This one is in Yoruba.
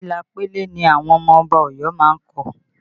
Ila pele ni àwọn ọmọ Ọba Ọ̀yọ́ má ń kọ